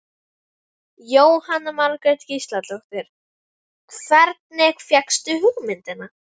Jóhanna Margrét Gísladóttir: Hvernig fékkstu hugmyndina?